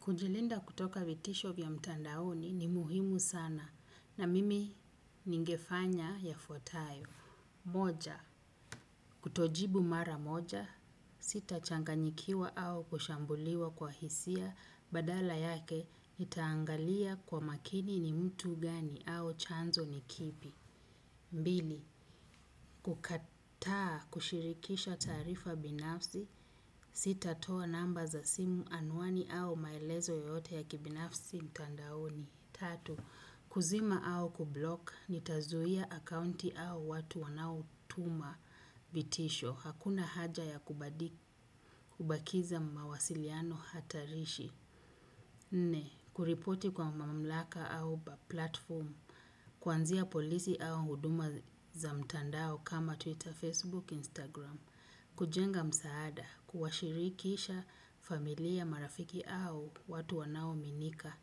Kujilinda kutoka vitisho vya mtandaoni ni muhimu sana na mimi ningefanya yafuatayo, moja kutojibu mara moja, sitachanganyikiwa au kushambuliwa kwa hisia badala yake nitaangalia kwa makini ni mtu gani au chanzo ni kipi. Mbili, kukataa kushirikisha taarifa binafsi, sitatoa namba za simu anwani au maelezo yoyote ya kibinafsi mtandaoni. Tatu, kuzima au kublock, nitazuia akaunti au watu wanaotuma vitisho, hakuna haja ya kubakiza mawasiliano hatarishi. Nne, kuripoti kwa mamlaka au platform, kwanzia polisi au huduma za mtandao kama Twitter, Facebook, Instagram, kujenga msaada, kuwashirikisha familia marafiki au watu wanao aminika